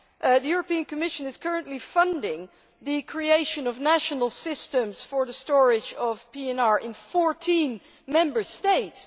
The European Commission is currently funding the creation of national systems for the storage of PNR in 14 Member States.